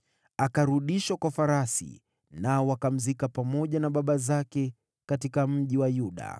Akarudishwa kwa farasi na akazikwa pamoja na baba zake katika Mji wa Yuda.